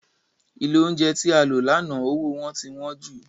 Ilé oúnjẹ tí a lọ lánàá owó wọn ti wọ́n jù